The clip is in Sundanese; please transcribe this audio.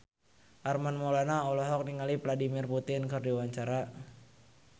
Armand Maulana olohok ningali Vladimir Putin keur diwawancara